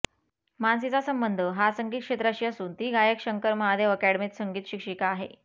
मानसीचा संबंध हा संगीत क्षेत्राशी असून ती गायक शंकर महादेव अॅकॅडमीत संगीत शिक्षिका आहे